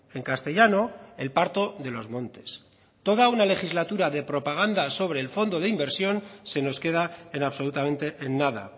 en castellano el parto de los montes toda una legislatura de propaganda sobre el fondo de inversión se nos queda en absolutamente en nada